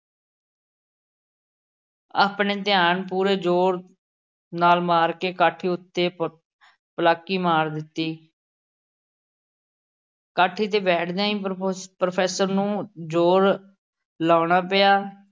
ਆਪਣੇ ਧਿਆਨ ਪੂਰੇ ਜ਼ੋਰ ਨਾਲ਼ ਮਾਰ ਕੇ ਕਾਠੀ ਉੱਤੇ ਪ ਪਲਾਕੀ ਮਾਰ ਦਿੱਤੀ। ਕਾਠੀ ਤੇ ਬੈਠਦਿਆਂ ਹੀ pro professor ਨੂੰ ਜ਼ੋਰ ਲਾਉਣਾ ਪਿਆ।